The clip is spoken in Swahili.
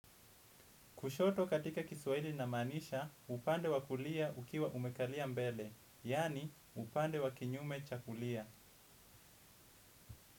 Kushoto katika kiswaili na manisha, upande wakulia ukiwa umekalia mbele, yani upande wa kinyume chakulia.